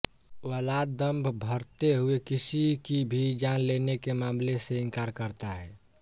Vlad दंभ भरते हुए किसी की भी जान लेने के मामले से इंकार करता है